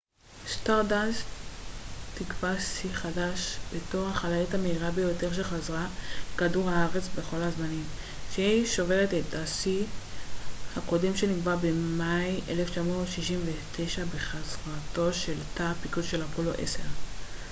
סטארדאסט תקבע שיא חדש בתור החללית המהירה ביותר שחזרה לכדור הארץ בכל הזמנים כשהיא שוברת את השיא הקודם שנקבע במאי 1969 בחזרתו של תא הפיקוד של אפולו 10